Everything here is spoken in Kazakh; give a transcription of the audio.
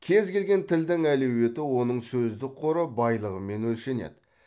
кез келген тілдің әлеуеті оның сөздік қоры байлығымен өлшенеді